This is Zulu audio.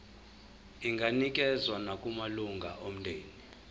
inganikezswa nakumalunga omndeni